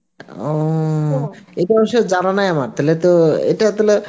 ও জানা নাই আমার তাহলে তো ইটা তাহলে